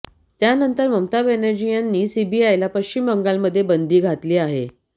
त्यानंतर ममता बॅनर्जी यांनी सीबीआयला पश्चिम बंगालमध्ये बंदी घातली आहे